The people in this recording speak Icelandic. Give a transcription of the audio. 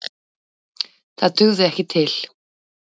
Það dugði ekki til.